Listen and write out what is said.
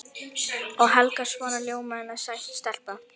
Og Helga svona ljómandi sæt stelpa.